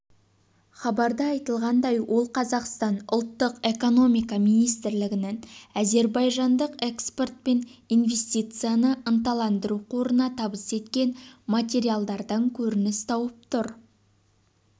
хабарда айтылғандай ол қазақстан ұлттық экономика министрлігінің әзербайжандық экспорт пен инвестицияны ынталандыру қорына табыс еткен материалдардан көрініс тауып тұр